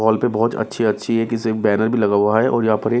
hall पे बहुत अच्छी-अच्छी एक बैनर भी लगा हुआ हैऔर यहां पर--